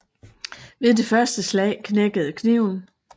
Ved det første slag knækkede kniven